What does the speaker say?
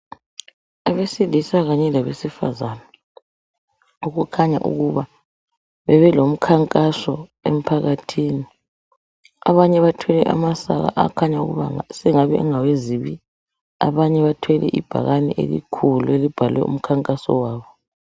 Abesilisa kanye labesifazane okukhanya ukuba bebelomkhankaso emphakathini. Abanye bathwele amasaka akhanya ukuba sengabe engawezibi. Abanye bathwele ibhakane elikhulu elibhalwe umkhankaso wabo.